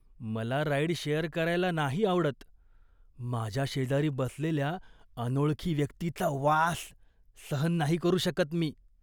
मला ride share करायला नाही आवडत, माझ्या शेजारी बसलेल्या अनोळखी व्यक्तीचा वास सहन नाही करू शकत मी.